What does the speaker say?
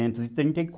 trinta e